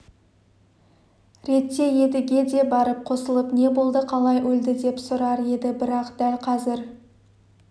ретте едіге де барып қосылып не болды қалай өлді деп сұрар еді бірақ дәл қазір